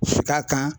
Ka kan